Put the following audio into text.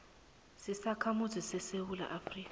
sisakhamuzi sesewula afrika